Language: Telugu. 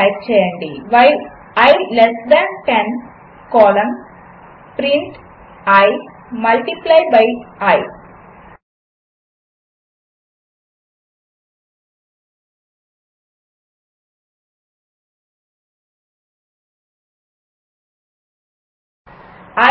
టైప్ చేయండి i 1 while i less than 10 colon print i multiply by i